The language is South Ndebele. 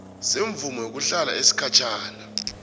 semvumo yokuhlala yesikhatjhana